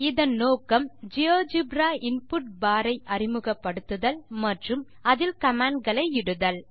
இதன் நோக்கம் GeoGebra input bar ஐ அறிமுகப்படுத்துதல் மற்றும் அதில் commandகளை இடுதல்